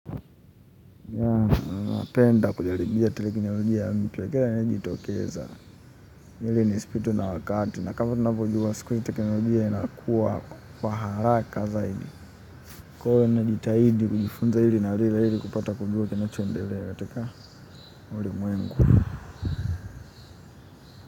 Napenda kujaribia teknolojia mpya amabayo inajitokeza. Ili nispitwe na wakati. Na kama tunavyojua siku hixi telekniojia inakua kwa haraka zaidi. Kwa hiyo ninajitahidi kujifunza ili kupata kujua kinachoendele ya katika ulimwengu.